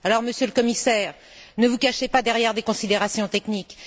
Alors, Monsieur le Commissaire, ne vous cachez pas derrière des considérations techniques!